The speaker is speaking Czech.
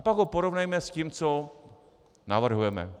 A pak ho porovnejme s tím, co navrhujeme.